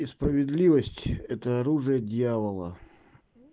и справедливость это оружие дьявола